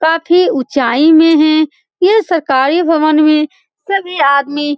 काफी ऊँचाई में हैं यह सरकारी भवन में सब ये आदमी --